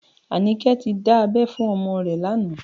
Anike ti dá abẹ́ fún ọmọ rẹ̀ lánàá